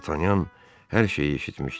D'Artagnan hər şeyi eşitmişdi.